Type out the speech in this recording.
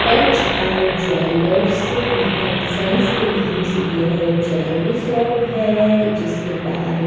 H R jewellers and sons के नाम से यह ज्वेलरी शॉप है जिसके बाहर एक --